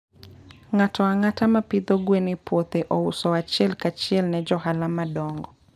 Ng'ato ang'ata ma pidho gwen e puothe ouso achiel kachiel ne johala madongo.